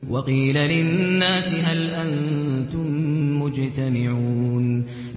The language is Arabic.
وَقِيلَ لِلنَّاسِ هَلْ أَنتُم مُّجْتَمِعُونَ